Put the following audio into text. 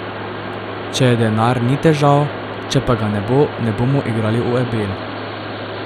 Če je denar, ni težav, če pa ga ne bo, ne bomo igrali v Ebel.